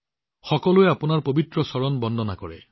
সকলোৱে আপোনাৰ পবিত্ৰ চৰণৰ উপাসনা কৰে